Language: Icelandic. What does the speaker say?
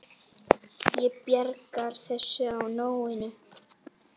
Ég bjargar þessu á nóinu.